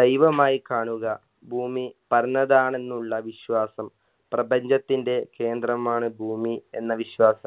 ദൈവമായി കാണുക ഭൂമി പറന്നതാണെന്നുള്ള വിശ്വാസം പ്രപ്രപഞ്ചത്തിൻറെ കേന്ദ്രമാണ് ഭൂമി എന്ന വിശ്വാസം